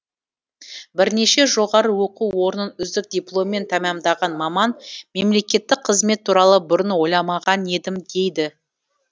бірнеше жоғары оқу орнын үздік дипломмен тәмамдаған маман мемлекеттік қызмет туралы бұрын ойламаған едім дейді